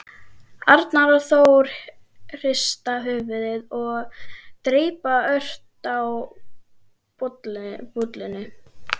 Arnar og Þór hrista höfuðið og dreypa ört á bollunni.